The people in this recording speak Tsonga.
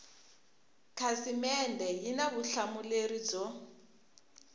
khasimende yi na vutihlamuleri byo